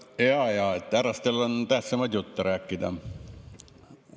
Jaa-jaa, härrastel algatajatel on tähtsamaid jutte rääkida.